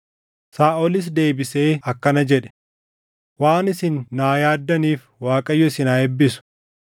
Saaʼolis deebisee akkana jedhe; “Waan isin naa yaaddaniif Waaqayyo isin haa eebbisu.